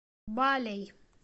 балей